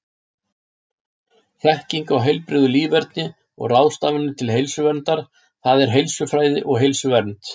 Þekking á heilbrigðu líferni og ráðstafanir til heilsuverndar, það er heilsufræði og heilsuvernd.